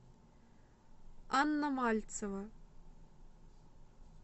анна мальцева